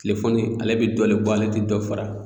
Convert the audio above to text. Telefɔni ale bɛ dɔ le bɔ ale tɛ dɔ fara